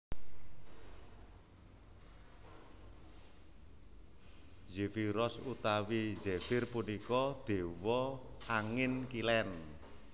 Zefiros utawi Zefir punika dewa angin kilen